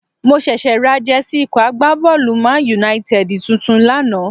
Mo ṣẹ̀ṣẹ̀ ra Jẹ́sí ikọ̀ agbábọ́ọ̀lù ManUnited tuntun lánàá